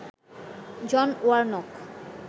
John Warnock